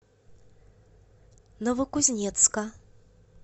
новокузнецка